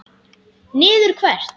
Niður hvert?